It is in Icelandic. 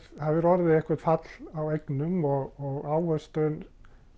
það hefur orðið eitthvert fall á eignum og ávöxtun